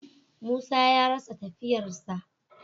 Musa ya rasa tafiyar sa.